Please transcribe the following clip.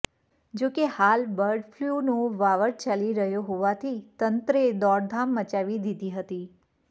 જો કે હાલ બર્ડ ફલ્યૂનો વાવર ચાલી રહ્યો હોવાથી તંત્રએ દોડધામ મચાવી દીધી હતી